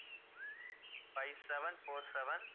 five seven four seven